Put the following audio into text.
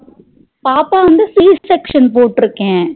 பாப்பாவா வந்து c section போட்டு இருக்கேன்